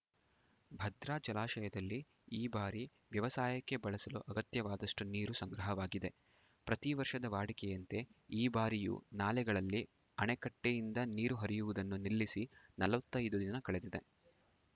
ಭದ್ರಾ ಜಲಾಶಯದಲ್ಲಿ ಈ ಬಾರಿ ವ್ಯವಸಾಯಕ್ಕೆ ಬಳಸಲು ಅಗತ್ಯವಾದಷ್ಟುನೀರು ಸಂಗ್ರಹವಾಗಿದೆ ಪ್ರತಿ ವರ್ಷದ ವಾಡಿಕೆಯಂತೆ ಈ ಬಾರಿಯೂ ನಾಲೆಗಳಲ್ಲಿ ಅಣೆಕಟ್ಟೆಯಿಂದ ನೀರು ಹರಿಯುವುದನ್ನು ನಿಲ್ಲಿಸಿ ನಲವತ್ತೈದು ದಿನ ಕಳೆದಿದೆ